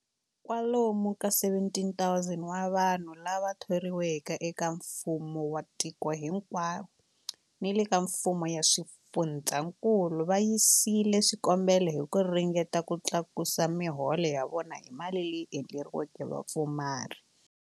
Kwalomu ka 17,000 wa vanhu lava thoriweke eka mfumo wa tiko hinkwaro ni le ka mifumo ya swifundzankulu va yisile swikombelo hi ku ringeta ku tlakusa miholo ya vona hi mali leyi endleriweke vapfumari.